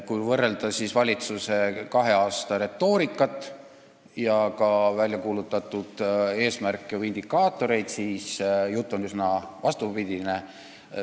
Kui võrrelda valitsuse kahe aasta retoorikat ja ka väljakuulutatud eesmärke või indikaatoreid, siis näeme, et jutt on muutunud üsna vastupidiseks.